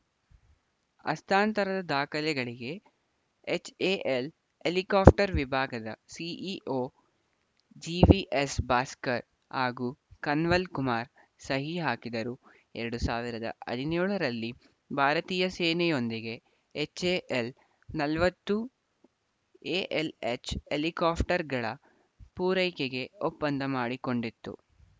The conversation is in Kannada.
ಹಸ್ತಾಂತರದ ದಾಖಲೆಗಳಿಗೆ ಎಚ್‌ಎಎಲ್‌ ಹೆಲಿಕಾಪ್ಟರ್‌ ವಿಭಾಗದ ಸಿಇಒ ಜಿವಿಎಸ್‌ ಭಾಸ್ಕರ್‌ ಹಾಗೂ ಕನ್ವಲ್‌ ಕುಮಾರ್‌ ಸಹಿ ಹಾಕಿದರು ಎರಡ್ ಸಾವಿರದ ಹದಿನೇಳರಲ್ಲಿ ಭಾರತೀಯ ಸೇನೆಯೊಂದಿಗೆ ಎಚ್‌ಎಎಲ್‌ ನಲವತ್ತು ಎಎಲ್‌ಎಚ್‌ ಹೆಲಿಕಾಪ್ಟರ್‌ಗಳ ಪೂರೈಕೆಗೆ ಒಪ್ಪಂದ ಮಾಡಿಕೊಂಡಿತ್ತು